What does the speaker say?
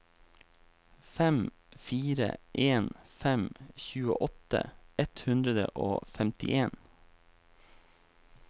fem fire en fem tjueåtte ett hundre og femtien